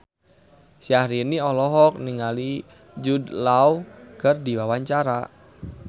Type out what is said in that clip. Syahrini olohok ningali Jude Law keur diwawancara